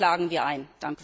Das klagen wir ein.